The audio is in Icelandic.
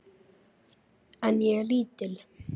En ég er lítil.